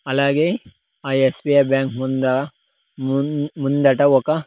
అలాగే ఆ ఎస్_బి_ఐ బ్యాంక్ ముంద మూన్-- ముందట ఒక.